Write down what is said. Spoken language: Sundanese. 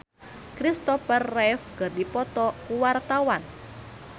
Nino Fernandez jeung Christopher Reeve keur dipoto ku wartawan